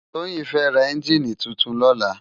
Toyin fè rá ènjini tútún lòlá